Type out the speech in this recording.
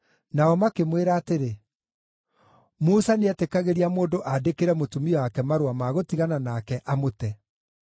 Nao makĩmwĩra atĩrĩ, “Musa nĩetĩkagĩria mũndũ aandĩkĩre mũtumia wake marũa ma gũtigana nake, amũte.”